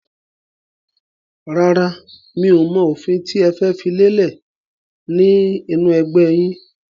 Rárá, mi ò mọ òfin tí ẹ fẹ́ fi lélẹ̀ ni inu ẹgbẹ́ yìn.